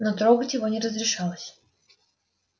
но трогать его не разрешалось